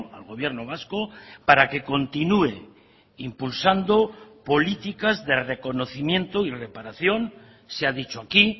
al gobierno vasco para que continúe impulsandopolíticas de reconocimiento y reparación se ha dicho aquí